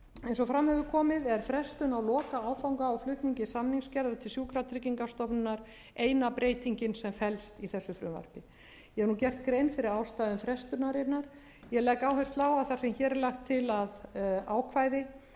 eins og fram hefur komið er frestun lokaáfanga á flutningi samningsgerðar til sjúkratryggingastofnunar eina breytingin sem felst í frumvarpinu ég hef nú gert grein ástæðum frestunarinnar ég legg áherslu á að þar sem hér er lagt til að ákvæði